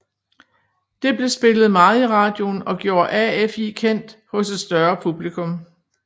Det blev spillet meget i radioen og gjorde AFI kendt hos et større publikum